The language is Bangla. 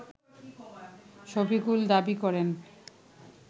শফিকুল দাবি করেন